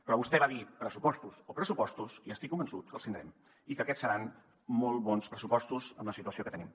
però vostè va dir pressupostos o pressupostos i estic convençut que els tindrem i que aquests seran molt bons pressupostos amb la situació que tenim